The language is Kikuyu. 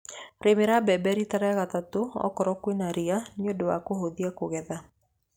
Rĩmĩra mbembe rita rĩa gatatũ okorwo kwĩna ria nĩ ũndũ wa kũhũthia kũgetha.